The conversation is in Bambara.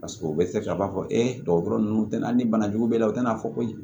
Paseke o bɛ se ka b'a fɔ e dɔgɔtɔrɔ ninnu tɛna ni bana jugu b'i la u tɛna fɔ ko